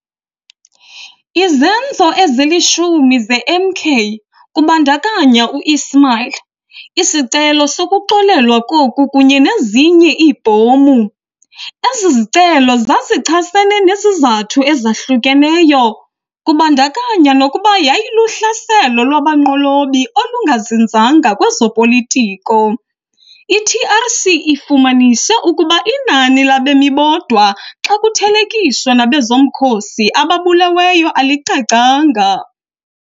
Izenzo ezilishumi zeMK, kubandakanya u-Ismail, isicelo sokuxolelwa koku kunye nezinye iibhomu. Ezi zicelo zazichasene nezizathu ezahlukeneyo, kubandakanya nokuba yayiluhlaselo lwabanqolobi olungazinzanga kwezopolitiko. I-TRC ifumanise ukuba inani labemi bodwa xa kuthelekiswa nabezomkhosi ababuleweyo alicacanga.